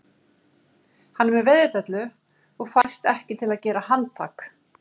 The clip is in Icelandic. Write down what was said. Hann er með veiðidellu og fæst ekki til að gera handtak